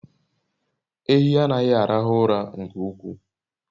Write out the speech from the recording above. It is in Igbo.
Ehi anaghi arahu ura nke ukwuu